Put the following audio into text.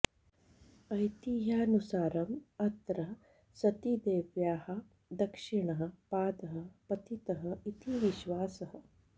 ऐतिह्यानुसारम् अत्र सतीदेव्याः दक्षिणः पादः पतितः इति विश्वासः